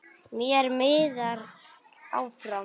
Mér miðar áfram.